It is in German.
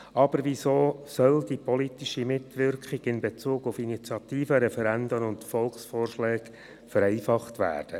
Doch weshalb soll die politische Mitwirkung in Bezug auf Initiativen, Referenden und Volksvorschlägen vereinfacht werden?